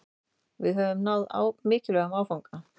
Við höfum náð mikilvægum áfanga